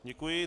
Děkuji.